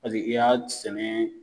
Paseke i y'a sɛnɛ